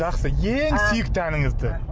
жақсы ең сүйікті әніңізді